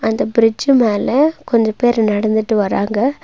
அந்த பிரிட்ஜு மேல கொஞ்ச பேரு நடந்துட்டு வராங்க.